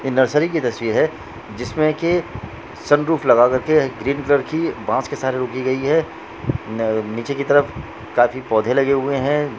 ये नर्सरी की तस्वीर है जिसमे की सन रूफ लगा करके ग्रीन कलर की बांस के सरे रोकी गई है न-नीचे की तरफ काफी पौधे लगे हुए हैं।